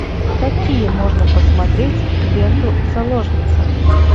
какие можно посмотреть ленту заложница